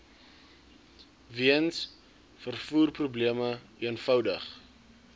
weens vervoerprobleme eenvoudig